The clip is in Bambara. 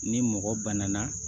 Ni mɔgɔ banana